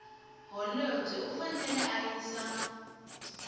holobye u fanele a yisa